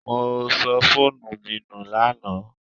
I lost my phone yesterday